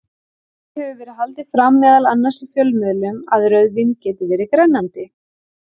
Því hefur verið haldið fram, meðal annars í fjölmiðlum, að rauðvín geti verið grennandi.